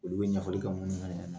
Olu bɛ ɲɛfɔli kɛ minnu ɲɛnɛ.